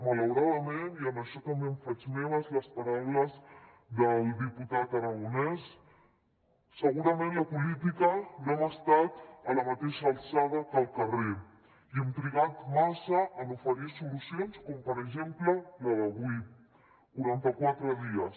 malauradament i en això també em faig meves les paraules del diputat aragonès segurament la política no hem estat a la mateixa alçada que el carrer i hem trigat massa en oferir solucions com per exemple la d’avui quaranta quatre dies